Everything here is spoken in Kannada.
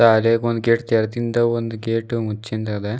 ಆಗ ಒಂದು ಗೇಟ್ ತೆರೆದಿಂದ ಒಂದು ಗೇಟ್ ಮುಚ್ಚಿಂದಿದ್ದ.